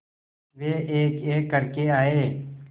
वे एकएक करके आए